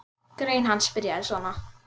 Grein hans byrjaði svona